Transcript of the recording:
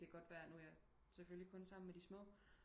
Det kan godt være nu er jeg selvfølgelig kun sammen med de små